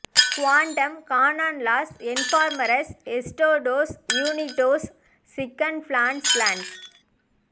quantum கானான் லாஸ் என்ஃபர்மர்ஸ் எஸ்டாடோஸ் யூனிடோஸ் சீக்ன் பிளான்ஸ் பிளான்ஸ்